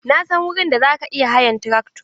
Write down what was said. Na san wurin da za ka iya hayan trakto.